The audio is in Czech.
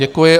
Děkuji.